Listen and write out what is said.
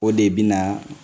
O de bina